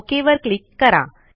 okay वर click करा